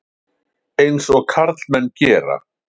Eins og karlmenn gera.